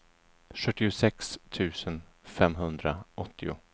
sjuttiosex tusen femhundraåttio